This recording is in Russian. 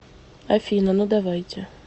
афина ну давайте